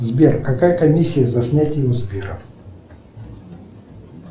сбер какая комиссия за снятие у сбера